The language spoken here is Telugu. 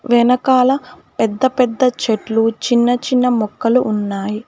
వెనకాల పెద్ద పెద్ద చెట్లు చిన్న చిన్న మొక్కలు ఉన్నాయి.